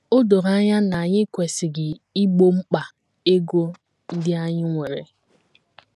O doro anya na anyị kwesịrị igbo mkpa ego ndị anyị nwere.